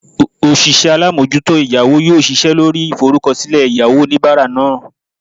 osise alamojuto eyawo yoo sise lori iforukosile eyawo onibara naa